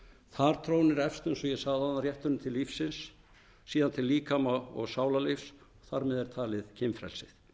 þar trónir efst eins og ég sagði áðan rétturinn til lífsins síðan til líkama og sálarlífs þar með er talið kynfrelsi